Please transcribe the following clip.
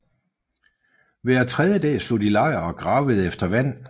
Hver tredje dag slog de lejr og gravede efter vand